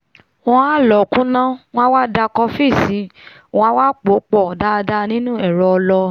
wọ́n á lọ̀ọ́ kúnná wọ́n á wá da kọfí lùú wọ́n a wá pòó pọ̀ dáadáa nínu ẹ̀rọ ọlọ